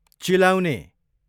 चिलाउने